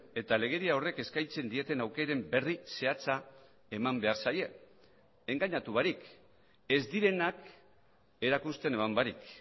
eta legedia horrek eskaintzen dieten aukeren berri zehatza eman behar zaie engainatu barik ez direnak erakusten eman barik